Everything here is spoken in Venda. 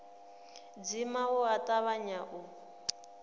dzima u a tavhanya u